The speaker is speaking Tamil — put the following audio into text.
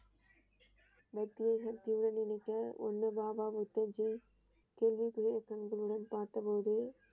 வெற்றிய கூடி நிற்க ஒன்று பாபா புத்தா ஜ பார்த்தபோது.